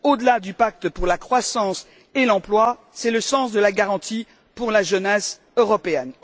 Au delà du pacte pour la croissance et l'emploi, c'est le sens de la garantie pour la jeunesse européenne.